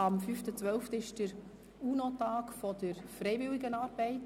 Der 5. Dezember ist der UNO-Tag der Freiwilligenarbeit.